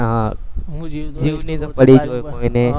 હા જીવની તો પડી જ કોઈ ને